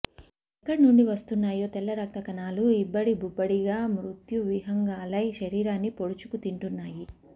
ఎక్కడనుండి వస్తున్నాయో తెల్ల రక్తకణాలు ఇబ్బడిముబ్బడిగా మృత్యు విహంగాలై శరీరాన్ని పొడుచుకు తింటున్నాయి